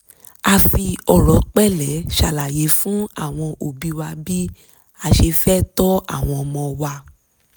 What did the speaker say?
a fi ọ̀rọ̀ pẹ̀lẹ́ ṣàlàyé fún àwọn òbí wa bí a ṣe fẹ́ tọ́ àwọn ọmọ wa